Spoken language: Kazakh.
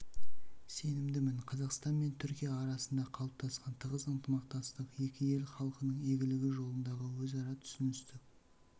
сенімдімін қазақстан мен түркия арасында қалыптасқан тығыз ынтымақтастық екі ел халқының игілігі жолындағы өзара түсіністік